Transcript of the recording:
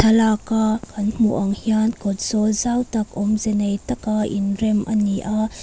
lak a kan hmuh ang hian kawt zawl zau tak awmze nei taka inrem ani a.